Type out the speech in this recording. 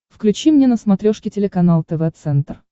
включи мне на смотрешке телеканал тв центр